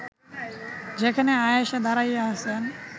যেখানে আয়েষা দাঁড়াইয়া আছেন